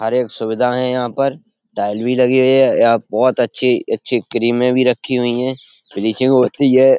हर एक सुविधा है यहाँ पर। टाइल भी लगी हुई है। यहां बोहोत अच्छी-अच्छी क्रीमे भी रखी हुई हैं। फिनिशिंग हो रही है।